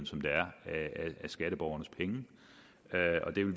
som det er af skatteborgernes penge og vi vil